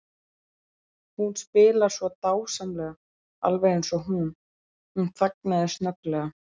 Hún spilar svo dásamlega, alveg eins og. Hún þagnaði snögglega.